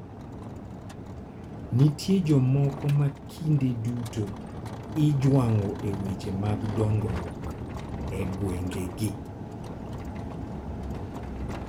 Nitie jomoko ma kinde duto ijwang'o e weche mag dongruok e gwengegi.